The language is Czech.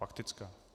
Faktická.